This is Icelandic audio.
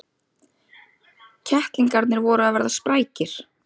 Kettlingarnir voru að verða sprækir.